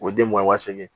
O ye den mugan waa segin